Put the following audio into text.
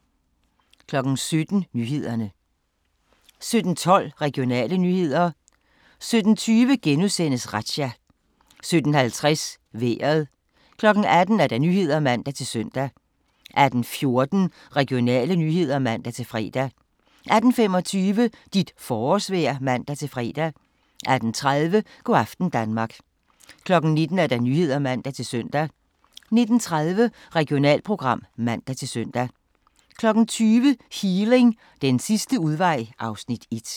17:12: Regionale nyheder 17:20: Razzia * 17:50: Vejret 18:00: Nyhederne (man-søn) 18:14: Regionale nyheder (man-fre) 18:25: Dit forårsvejr (man-fre) 18:30: Go' aften Danmark 19:00: Nyhederne (man-søn) 19:30: Regionalprogram (man-søn) 20:00: Healing – den sidste udvej (Afs. 1)